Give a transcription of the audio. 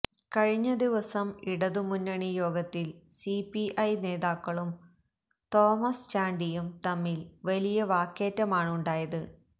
കഴിഞ്ഞ ദിവസം ഇടതുമുന്നണി യോഗത്തിൽ സിപിഐ നേതാക്കളും തോമസ് ചാണ്ടിയും തമ്മിൽ വലിയ വാക്കേറ്റമാണുണ്ടായത്